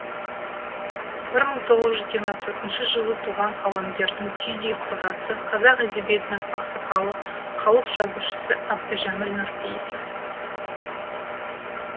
бір мың тоғыз жүз жиырма төртінші жылы туған қаламгердің түйдей құрдасы қазақ әдебиетінің ақсақалы халық жазушысы әбдіжәміл нұрпейісов